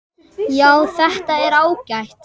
Já, þetta er ágætt.